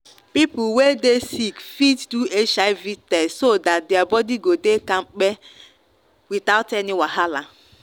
people wey dey sick fit do hiv test so that their body go dey kampe without any wahala.